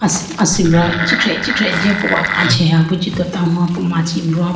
asibra ichikhiha ichikhiha jiyapo kache heya bi jitota ho po machi brown po.